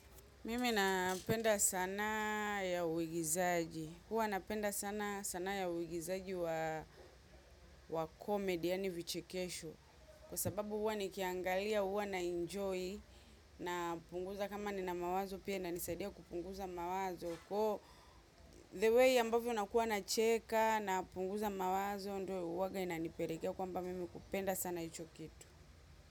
Mimi napenda sanaa ya uigizaji. Huwa napenda sanaa ya uigizaji wa wa comedy, yaani vichekesho. Kwa sababu huwa nikiangalia, huwa naenjoy, napunguza kama nina mawazo pia inanisaidia kupunguza mawazo. Wo the way ambavyo nakuwa nacheka napunguza mawazo, ndio uwaga inanipelekea kwamba mimi kupenda sana icho kitu.